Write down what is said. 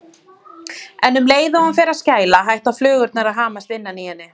En um leið og hún fer að skæla hætta flugurnar að hamast innan í henni.